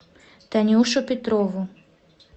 танюшу петрову